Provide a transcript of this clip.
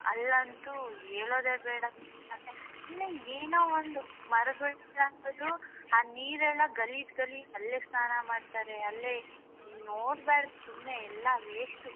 ಅಲ್ಲಂತೂ ಹೇಳೋದೇ ಬೇಡ ಸುಮ್ನೆ ಏನೋ ಒಂದು ಮರಗಳ್ನ ಕಡಿಯೋದು ಆ ನೀರ್ಗಳ್ನ್ ಗಲೀಜ್ ಗಲೀಜ್ ಅಲ್ಲೇ ಸ್ನಾನ ಮಾಡ್ತಾರೆ ನೋಡ್ಬರ್ದ್ ಸುಮ್ನೆ ಎಲ್ಲ waste .